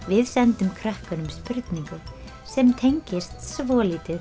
við sendum krökkunum spurningu sem tengist svolítið